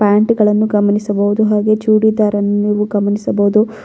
ಪ್ಯಾಂಟ್ಗಳನ್ನು ಗಮನಿಸಬಹುದು ಹಾಗೆ ಚೂಡಿದಾರನ್ನು ನೀವು ಗಮನಿಸಬಹುದು.